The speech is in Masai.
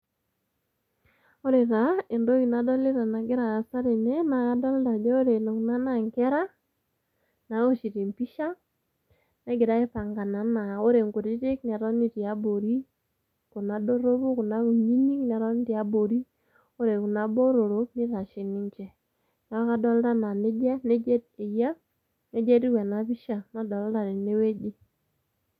Ore taa entoki nadolita nagira aasa tene naa kadolta ajo kore Kuna naa nkera nawoshito empisha, negira aipangana naa ore nkutitik netoni tiabori, Kuna doropu kuna kunyinyik netoni te abori, ore Kuna botorok nitashe ninje. Neeku adolta naa neja nija eyia, neija etiu ena pisha nadolta tene wueji.